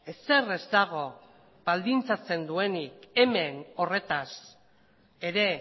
ezer ez dago baldintzatzen duenik hemen horretaz ere